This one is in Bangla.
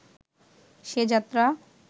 সে যাত্রা